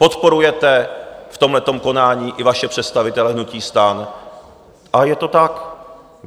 Podporujete v tomhletom konání i vaše představitele hnutí STAN, ale je to tak.